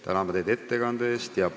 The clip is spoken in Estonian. Täname teid ettekande eest!